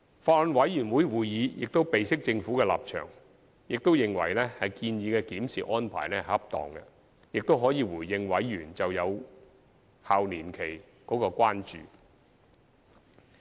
法案委員會亦備悉政府的立場，並認為建議的檢視安排恰當，可回應委員就有效期年期的關注。